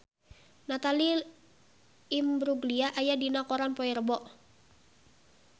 Natalie Imbruglia aya dina koran poe Rebo